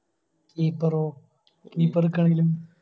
Keeper ഓ Keeper നിക്കാണെങ്കിലും